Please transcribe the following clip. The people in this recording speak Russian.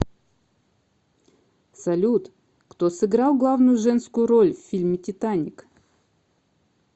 салют кто сыграл главную женскую роль в фильме титаник